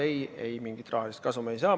Ei-ei, mingit rahalist kasumit me ei saa.